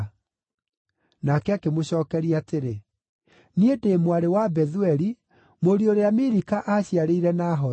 Nake akĩmũcookeria atĩrĩ, “Niĩ ndĩ mwarĩ wa Bethueli, mũriũ ũrĩa Milika aaciarĩire Nahoru.”